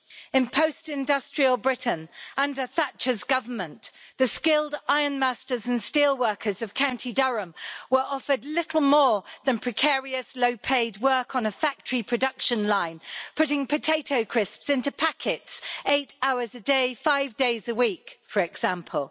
In post industrial Britain, under Thatcher's government, the skilled ironmasters and steelworkers of County Durham were offered little more than precarious low paid work on a factory production line, putting potato crisps into packets eight hours a day, five days a week, for example.